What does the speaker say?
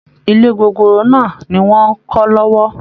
Ilé gogoro náà ni wọ́n ń kọ́ lọ́wọ́